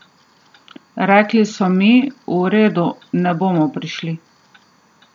Rekli so mi: 'V redu, ne bomo prišli'.